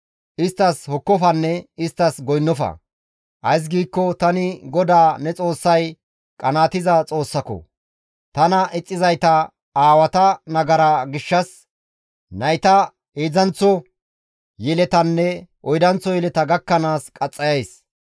Isttas hokkofanne isttas goynnofa. Ays giikko tani GODAA ne Xoossay qanaatiza Xoossako; tana ixxizayta aawata nagara gishshas nayta heedzdzanththo yeletanne oydanththo yeleta gakkanaas qaxxayays.